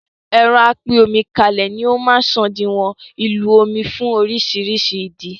ẹ̀rọ apín-omi-kálé ni ó máa ń sòdiwọ̀n ìlò omí fún orísirísi ìdí